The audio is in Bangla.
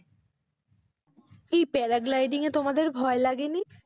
এই parad lighting এ তোমাদের ভয় লাগেনি?